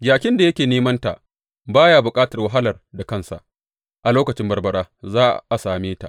Jakin da yake nemanta, ba ya bukatar wahalar da kansa; a lokacin barbara za a same ta.